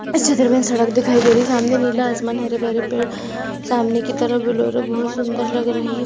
इस चित्र मे सड़क दिखाई दे रही है सामने नीला आसमान हरे भरे पेड़ सामने की तरफ बहुत सुंदर लग रही--